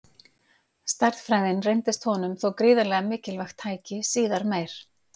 Stærðfræðin reyndist honum þó gríðarlega mikilvægt tæki síðar meir.